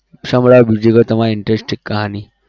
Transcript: સંભળાવ બીજું કઈ તમારી interesting કહાની